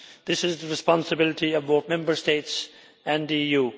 This is the responsibility of both Member States and the EU.